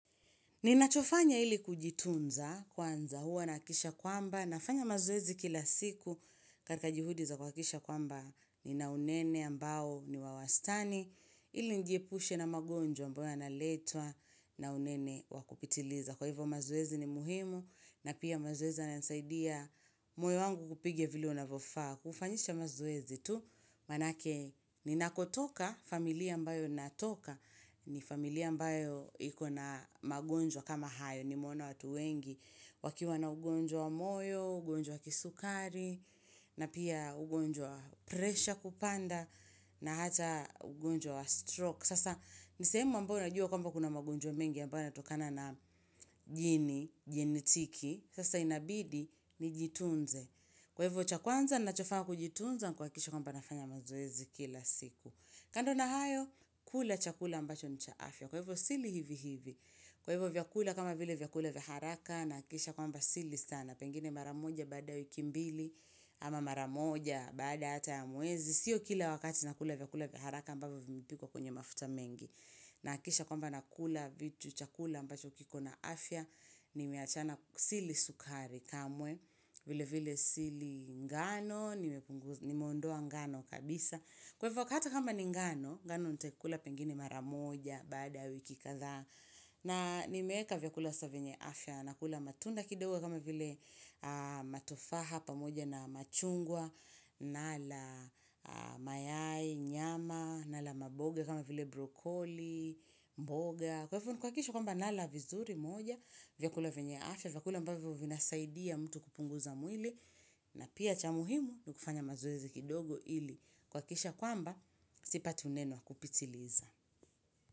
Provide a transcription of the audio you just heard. Ninachofanya ili kujitunza kwanza huwa nahakisha kwamba, nafanya mazoezi kila siku katika jihudi za kuhakisha kwamba ni naunene ambao ni wawastani, ili nijiepushe na magonjwa ambao yanaletwa na unene wakupitiliza. Kwa hivyo mazoezi ni muhimu na pia mazoezi yanasaidia moyo wangu kupiga vile unavyofas. Kufanyisha mazoezi tu manake ninakotoka familia ambayo natoka ni familia ambayo iko na magonjwa kama hayo nimeona watu wengi. Wakiwa na ugonjwa wa moyo, ugonjwa wa kisukari na pia ugonjwa wa presha kupanda na hata ugonjwa wa stroke. Sasa nisehemu ambao najua kwamba kuna magonjwa mingi ambao yanatokana na jini, jini tiki sasa inabidi ni jitunze kwa hivyo cha kwanza nachofanya kujitunza kuhakikisha kwamba nafanya mazoezi kila siku kando na hayo, kula chakula ambacho ni cha afya kwa hivyo sili hivi hivi kwa hivyo vyakula kama vile vyakula vya haraka nahakikisha kwamba sili sana pengine mara moja baada wiki mbili ama mara moja baada ata ya mwezi sio kila wakati na kula vyakula vya haraka ambavyo vimepikuwa kwenye mafuta mengi. Na hakisha kwamba nakula vitu chakula ambavho kiko na afya, nimeachana sili sukari kamwe, vile vile sili ngano, nimeondoa ngano kabisa. Kwa hivo kata kama ni ngano, ngano nitaikula pengini mara moja, bada wiki kadhaa. Na nimeweka vya kula venye afya, na kula matunda kidogo kama vile matofaha pamoja na machungwa, nala mayai, nyama, nala maboga kama vile brokoli, mboga. Kwa hivyo nikuhakisha kwamba nala vizuri moja. Vyakula venye afya. Vyakula ambavyo vina saidia mtu kupunguza mwili. Na pia cha muhimu nikufanya mazoezi kidogo ili. Kuhakikisha kwamba sipati unene wa kupitiliza.